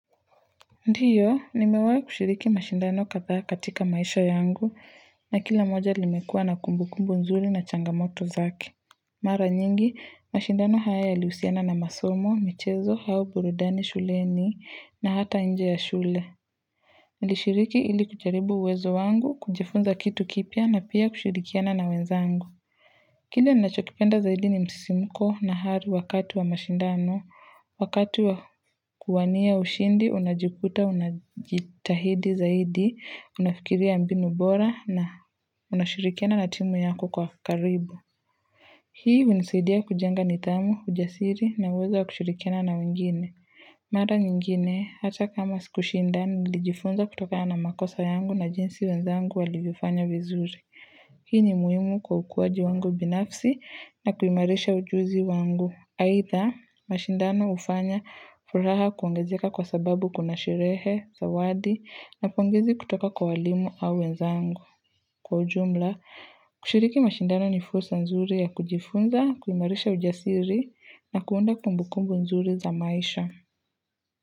Ndiyo nimewai kushiriki mashindano kadhaa katika maisha yangu na kila moja limekua na kumbukumbu nzuri na changamoto zake. Mara nyingi mashindano haya yalihusiana na masomo, michezo au burudani shuleni na hata nje ya shule nilishiriki ili kujaribu uwezo wangu, kujifunza kitu kipya na pia kushirikiana na wenzangu Kile ninachokipenda zaidi ni msisimko na hari wakati wa mashindano. Wakati wa kuwania ushindi, unajikuta, unajitahidi zaidi, unafikiria mbinu bora na unashirikiana na timu yako kwa karibu. Hii hunisaidia kujenga nidhamu, ujasiri na uwezo wa kushirikiana na wengine. Mara nyingine, hata kama sikushindana, nilijifunza kutokana na makosa yangu na jinsi wenzangu walivyofanya vizuri. Hii ni muhimu kwa ukuaji wangu binafsi na kuimarisha ujuzi wangu. Aidha, mashindano hufanya furaha kuongezeka kwa sababu kuna sherehe, zawadi, na pongezi kutoka kwa walimu au wenzangu. Kwa ujumla, kushiriki mashindano ni fursa nzuri ya kujifunza, kuimarisha ujasiri, na kuunda kumbukumbu nzuri za maisha.